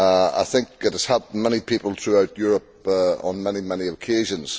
I think it has helped many people throughout Europe on many occasions